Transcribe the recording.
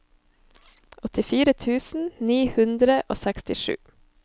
åttifire tusen ni hundre og sekstisju